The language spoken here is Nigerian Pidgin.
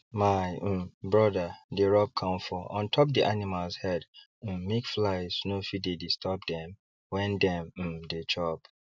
my um brother dey rub camphor on top d animals head um make flies no fit dey disturb dem when dem um dey chop